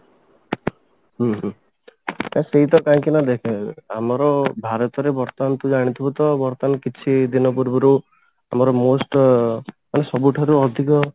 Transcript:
ହୁଁ ହୁଁ ଆ ସେଇଟା କାହିଁକି ନା ଦେଖେ ଆମର ଭରତରେ ବର୍ତମାନ ତୁ ଜାଣିଥିବୁ ତ ବର୍ତମାନ କିଛି ଦିନ ପୂର୍ବରୁ ଆମର most ମାନେ ସବୁଠାରୁ ଅଧିକ